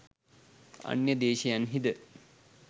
අන්‍ය දේශයන්හිද